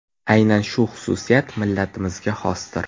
Aynan shu xususiyat millatimizga xosdir.